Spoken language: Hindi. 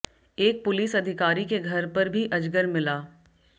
एक पुलिस अधिकारी के घर पर भी अजगर मिला